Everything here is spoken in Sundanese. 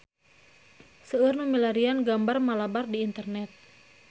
Seueur nu milarian gambar Malabar di internet